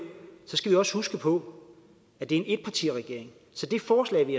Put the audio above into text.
også huske på at det er en etpartiregering så det forslag vi